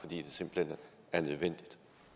det simpelt hen er nødvendigt